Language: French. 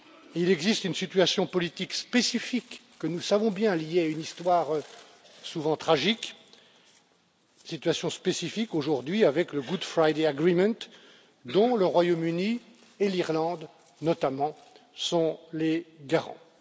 Il existe une situation politique spécifique que nous savons bien, liée à une histoire souvent tragique, une situation spécifique aujourd'hui avec le Good Friday Agreement dont le Royaume Uni et l'Irlande, notamment, sont les garants.